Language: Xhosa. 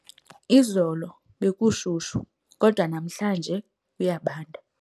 Izolo bekushushu kodwa namhlanje kuyabanda.